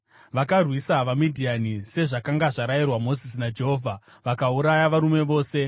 Vakarwisa vaMidhiani, sezvakanga zvarayirwa Mozisi naJehovha, vakauraya varume vose.